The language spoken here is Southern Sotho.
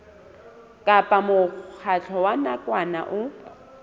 kapa mokgatlo wa nakwana o